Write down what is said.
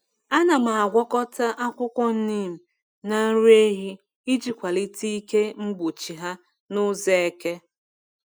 Ana m agwakọta akwụkwọ neem na nri ehi iji kwalite ike mgbochi ha n’ụzọ eke.